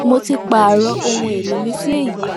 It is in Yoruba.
mo ti pààrọ ohun èèlò mi sí èyí